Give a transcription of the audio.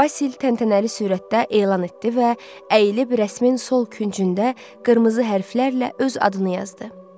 Basil təntənəli sürətdə elan etdi və əyilib rəsmin sol küncündə qırmızı hərflərlə öz adını yazdı.